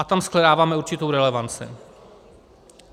A tam shledáváme určitou relevanci.